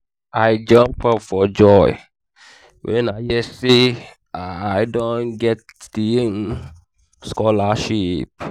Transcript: ada finish her post graduate studies for england last week